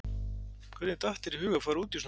Hvernig datt þér í hug að fara út í svona rugl?